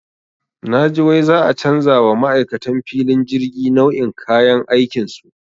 Naji wai za'a canja wa ma'aikan filin jirgi nau'in kayan aikinsu.